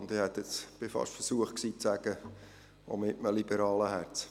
Und ich wäre fast versucht gewesen zu sagen: auch mit einem liberalen Herzen.